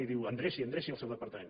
i diu endreci endreci el seu departament